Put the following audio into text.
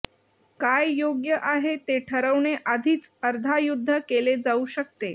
काय योग्य आहे ते ठरवणे आधीच अर्धा युद्ध केले जाऊ शकते